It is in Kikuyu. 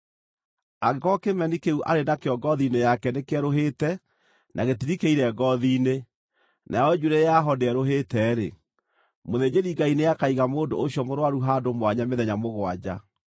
Angĩkorwo kĩmeni kĩu arĩ nakĩo ngoothi-inĩ yake nĩkĩerũhĩte na gĩtirikĩire ngoothi-inĩ, nayo njuĩrĩ yaho ndĩerũhĩte-rĩ, mũthĩnjĩri-Ngai nĩakaiga mũndũ ũcio mũrũaru handũ mwanya mĩthenya mũgwanja.